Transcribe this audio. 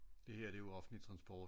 Det her det er jo offentlig transport